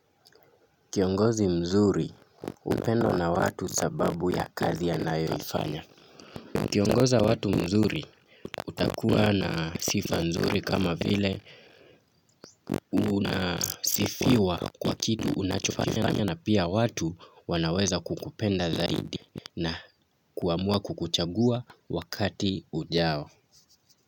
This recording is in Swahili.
Kiongozi mzuri, hupendwa na watu sababu ya kazi anayoifanya. Ukiongoza watu mzuri, utakuwa na sifa nzuri kama vile unasifiwa kwa kitu unachofanya na pia watu wanaweza kukupenda zaidi na kuamua kukuchagua wakati ujao.